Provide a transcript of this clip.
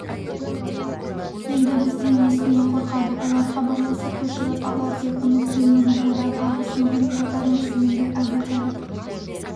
енді бізден несіне қорқады олар хабарласып көшіріп алар деп үміттенемін одан арғысын көре жатармыз енді әбутәліп